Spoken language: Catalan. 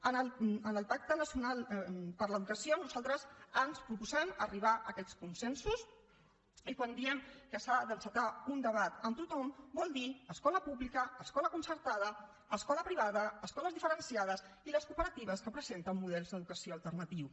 en el pacte nacional per l’educació nosaltres ens proposem arribar a aquests consensos i quan diem que s’ha d’encetar un debat amb tothom vol dir escola pública escola concertada escola privada escoles diferenciades i les cooperatives que presenten models d’educació alternatius